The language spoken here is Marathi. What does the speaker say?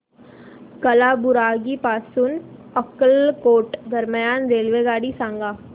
कालाबुरागी पासून अक्कलकोट दरम्यान रेल्वेगाडी सांगा